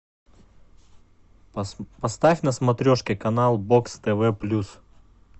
поставь на смотрешке канал бокс тв плюс